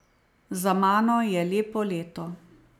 Za mano je lepo leto.